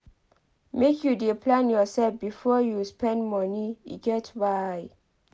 Make you dey plan yoursef before you spend moni e get why.